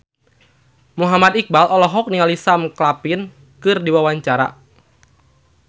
Muhammad Iqbal olohok ningali Sam Claflin keur diwawancara